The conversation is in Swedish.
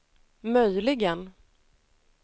möjligen